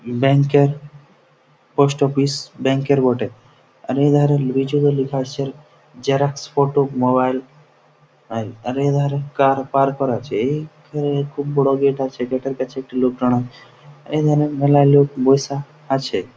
Bank -এর post office bank -এর বটে | আর এধারে গুইজগে লেখা আছে জেরক্স ফটো মোবাইল | এর এধারে কার পার্ক করা আছে | এই খুব বড় গেট আছে গেট -এর কাছে একটি লোক দাঁড়ায় | এই ধারে মেলায় লোক বসে আছে ।